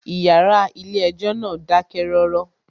Ìyàrá ilé ẹjọ́ náà dákẹ́ rọ́rọ́.